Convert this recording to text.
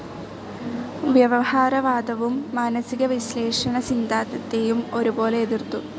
വ്യവഹാരവാദവും മാനസികവിശ്ലേഷണ സിദ്ധാന്തത്തെയും ഒരുപോലെ എതിർത്തു.